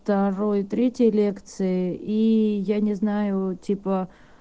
второй и третьи лекции и я не знаю типа